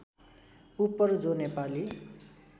उपर जो नेपाली